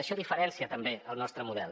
això diferencia també el nostre model